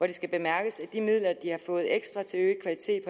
det skal bemærkes at de midler de har fået ekstra til øget kvalitet